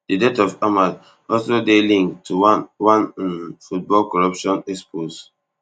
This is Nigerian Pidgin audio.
di death of ahmed also dey linked to one one um football corruption expos